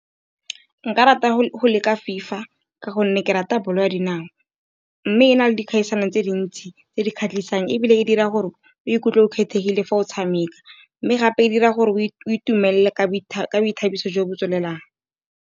Nka rata go leka fifa ka gonne ke rata bolo ya dinao, mme e na le dikgaisanong tse dintsi tse di kgatlhisang, ebile e dira gore o ikutlwe o kgethegile fa o tshameka. Mme gape e dira gore o itumelele ka boithabiso jo bo tswelelang.